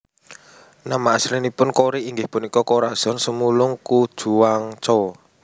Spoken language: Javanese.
Nama aslinipun Cory inggih punika Corazon Sumulong Cojuangco